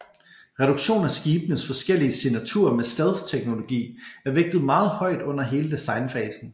Reduktion af skibenes forskellige signaturer med stealth teknologi er vægtet meget højt under hele designfasen